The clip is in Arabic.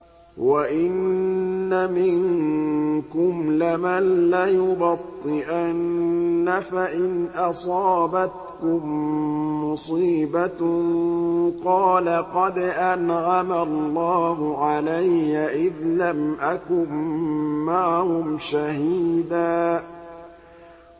وَإِنَّ مِنكُمْ لَمَن لَّيُبَطِّئَنَّ فَإِنْ أَصَابَتْكُم مُّصِيبَةٌ قَالَ قَدْ أَنْعَمَ اللَّهُ عَلَيَّ إِذْ لَمْ أَكُن مَّعَهُمْ شَهِيدًا